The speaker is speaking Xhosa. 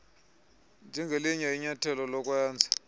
njengelinye inyathelo lokwenza